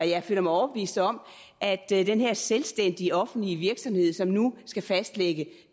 jeg føler mig overbevist om at den her selvstændige offentlige virksomhed som nu skal fastlægge